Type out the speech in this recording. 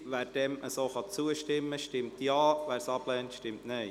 Wer dem zustimmt, stimmt Ja, wer es ablehnt, stimmt Nein.